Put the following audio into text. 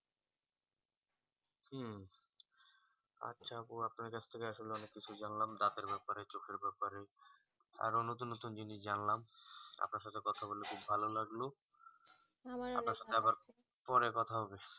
আচ্ছা আপু আপনার কাছ থেকে অনেক কিছু জানলাম দাঁতের ব্যাপারে চোখের ব্যাপারে আরো নতুন নতুন জিনিস জানলাম আপনার সাথে কথা ওলে খুব ভালো লাগলো আপনার সাথে আবার পরে কথা হবে